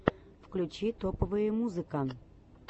включи топовые музыка